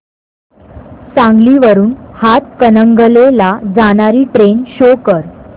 सांगली वरून हातकणंगले ला जाणारी ट्रेन शो कर